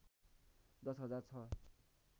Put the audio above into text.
१० हजार छ